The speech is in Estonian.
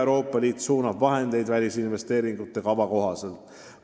Euroopa Liit suunab vahendeid välisinvesteeringute kava kohaselt.